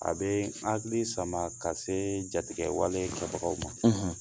A bɛ an hakili sama ka se jatigɛwale kabagaw ma